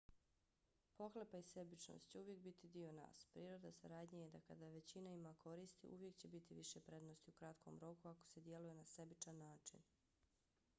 pohlepa i sebičnost će uvijek biti dio nas. priroda saradnje je da kada većina ima koristi uvijek će biti više prednosti u kratkom roku ako se djeluje na sebičan način